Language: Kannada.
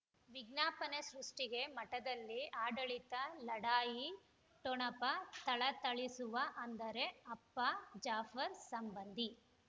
ವಿಜ್ಞಾಪನೆ ಸೃಷ್ಟಿಗೆ ಮಠದಲ್ಲಿ ಆಡಳಿತ ಲಢಾಯಿ ಠೊಣಪ ಥಳಥಳಿಸುವ ಅಂದರೆ ಅಪ್ಪ ಜಾಫರ್ ಸಂಬಂಧಿ